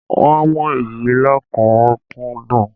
Wọ́n ń mú èyí lọ́kùnúnkúndun